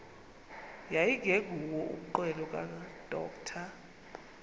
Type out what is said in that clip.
yayingenguwo umnqweno kadr